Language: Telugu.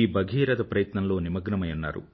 ఈ భగీరథ ప్రయత్నంలో నిమగ్నమై ఉన్నారు